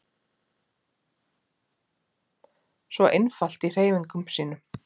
Svo einfalt í hreyfingum sínum.